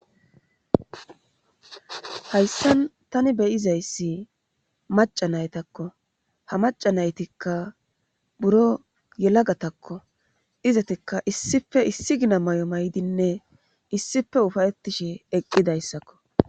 hayssan tani be7izayssi maca naytakko ha maca naytikka buro yelagatakko izetikka issife issi gina may7o maydinne issife ufayettishe eqqidayssakko.